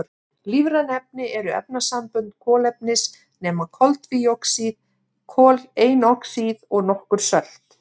Lífræn efni eru efnasambönd kolefnis nema koltvíoxíð, koleinoxíð og nokkur sölt.